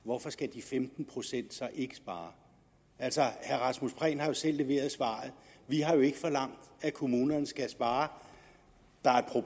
hvorfor skal de femten procent så ikke spare altså herre rasmus prehn har jo selv leveret svaret vi har jo ikke forlangt at kommunerne skal spare der er